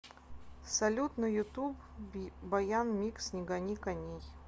салют на ютуб баян микс не гони коней